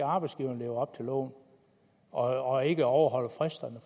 arbejdsgiverne lever op til loven og ikke overholder fristerne